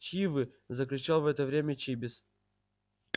чьи вы закричал в это время чибис